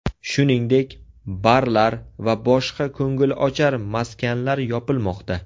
Shuningdek, barlar va boshqa ko‘ngilochar maskanlar yopilmoqda.